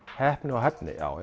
heppni og hæfni já